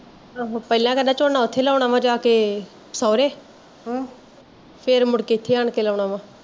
ਆਹੋ ਪਹਿਲਾਂ ਕਹਿੰਦਾ ਮੈਂ ਝੋਨਾ ਓਥੇ ਲਾਉਣਾ ਜਾ ਕੇ, ਸੋਹਰੇ ਹਮ ਫੇਰ ਮੁੜ ਕੇ ਏਥੇ ਆਣ ਕੇ ਲਾਉਣਾ ਵਾ